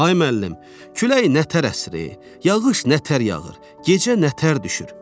Ay müəllim, külək nətər əsir, yağış nətər yağır, gecə nətər düşür?